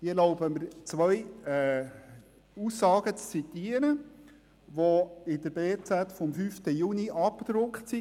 Ich erlaube mir zwei Aussagen zu zitieren, welche in der «Berner Zeitung» vom 5. Juni abgedruckt waren.